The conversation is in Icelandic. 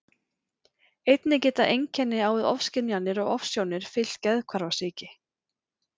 Einnig geta einkenni á við ofskynjanir og ofsjónir fylgt geðhvarfasýki.